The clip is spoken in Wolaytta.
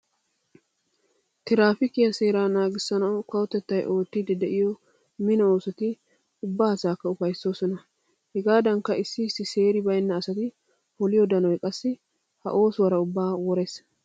Tiraafiikiya seeraa naagissanawu kawotettay oottiiddi de'iyo mino oosoti ubba asaakka ufayssoosona. Hegaadankka issi issi seeri baynna asati poliyo danoy qassi ha oosuwara ubbaa worees.